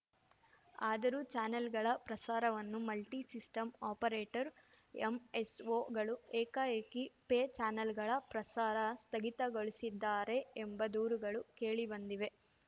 ಆದರೂ ಚಾನೆಲ್‌ಗಳ ಪ್ರಸಾರವನ್ನು ಮಲ್ಟಿಸಿಸ್ಟಂ ಆಪರೇಟರ್‌ಎಂಎಸ್‌ಓಗಳು ಏಕಾಏಕಿ ಪೇ ಚಾನೆಲ್‌ಗಳ ಪ್ರಸಾರ ಸ್ಥಗಿತಗೊಳಿಸಿದ್ದಾರೆ ಎಂಬ ದೂರುಗಳು ಕೇಳಿಬಂದಿವೆ